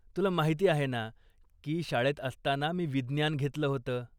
तुला माहिती आहे ना की शाळेत असताना मी विज्ञान घेतलं होतं?